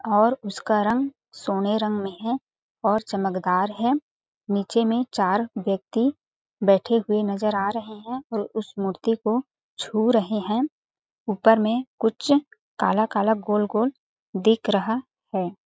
और उसका रंग सोने रंग में है और चमकदार है नीचे में चार व्यक्ति बैठे हुए नज़र आ रहे है और उस मूर्ति को छू रहे है ऊपर में कुछ काला-काला गोल-गोल दिख रहा है।